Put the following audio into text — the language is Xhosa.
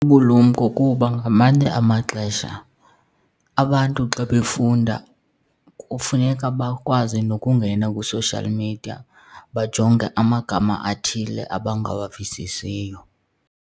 Bubulumko kuba ngamanye amaxesha abantu xa befunda kufuneka bakwazi nokungena kwi-social media bajonge amagama athile abangawavisisiyo.